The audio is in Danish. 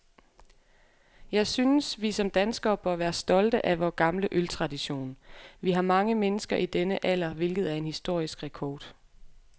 Jeg synes, vi som danskere bør være stolte af vor gamle øltradition. Vi har mange mennesker i denne alder, hvilket er en historisk rekord.